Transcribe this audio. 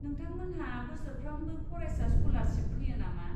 नोंथांमोनहा बोसोरफ्रोमबो फरायसा स्क'लारशिप होयो नामा?